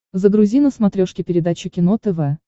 загрузи на смотрешке передачу кино тв